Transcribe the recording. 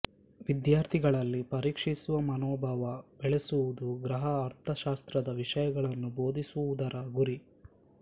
ವಿದ್ಯಾರ್ಥಿಗಳಲ್ಲಿ ಪರೀಕ್ಷಿಸುವ ಮನೋಭಾವ ಬೆಳೆಸುವುದು ಗೃಹಅರ್ಥಶಾಸ್ತ್ರದ ವಿಷಯಗಳನ್ನು ಬೋಧಿಸುವುದರ ಗುರಿ